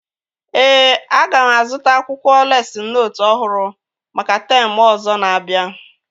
Ee, aga m azụta akwụkwọ lesịn nootu ọhụrụ maka teemụ ọzọ na-abịa